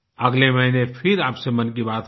अगले महीने फिर आपसे मन की बात होगी